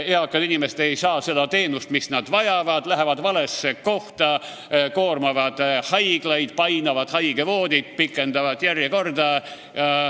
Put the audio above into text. Eakad inimesed ei saa seda teenust, mida nad vajavad, lähevad valesse kohta, koormavad haiglaid, painavad haigevoodit, pikendavad järjekordi.